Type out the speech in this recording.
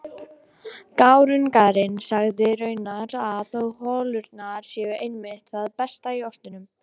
Gárungarnir segja raunar að holurnar séu einmitt það besta í ostinum.